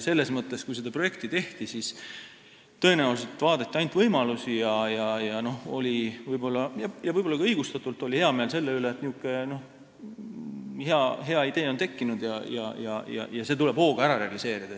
Selles mõttes, kui seda projekti tehti, siis tõenäoliselt vaadati ainult võimalusi – võib-olla ka õigustatult – ja oli hea meel selle üle, et selline hea idee on tekkinud, ja see tuli hooga ära realiseerida.